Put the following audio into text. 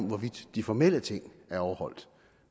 hvorvidt de formelle ting er overholdt